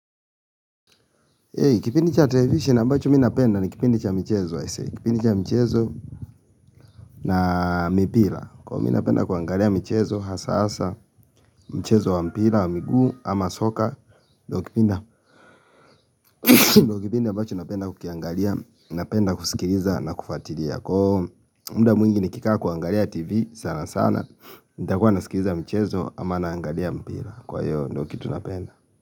Kipindi cha television ambacho mimi napenda ni kipindi cha michezo na mipira Kwa mimi napenda kuangalia michezo hasa hasa, mchezo wa mpira, wa miguu, ama soka ndio kipindi ambacho napenda kukiangalia, napenda kusikiliza na kufuatilia Kwa muda mwingi nikikaa kuangalia tv sana sana, nitakuwa nasikiliza mchezo ama naangalia mpira Kwa hiyo ndio kitu napenda.